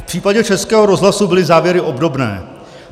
V případě Českého rozhlasu byly závěry obdobné.